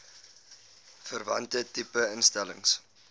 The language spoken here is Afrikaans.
verwante tipe instellings